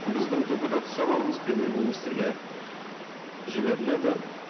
біздің депутаттық сауалымыз премьер министрге жіберіледі